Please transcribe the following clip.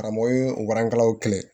Karamɔgɔ ye o barankaw kɛlɛ